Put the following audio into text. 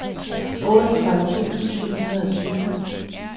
otteogtredive tusind syv hundrede og tyve